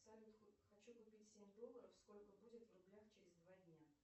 салют хочу купить семь долларов сколько будет в рублях через два дня